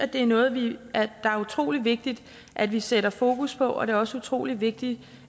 det er noget det er utrolig vigtigt at vi sætter fokus på og det er også utrolig vigtigt